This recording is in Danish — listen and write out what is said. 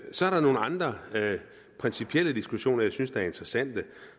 så er der nogle andre principielle diskussioner som jeg synes er interessante